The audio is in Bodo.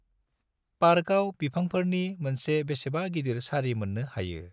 पार्काव बिफांफोरनि मोनसे बेसेबा गिदिर सारि मोननो हायो।